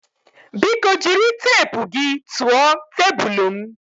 Biko jiri teepu gị tụọ tebụl m